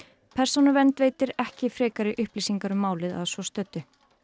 persónuvernd veitir ekki frekari upplýsingar um málið að svo stöddu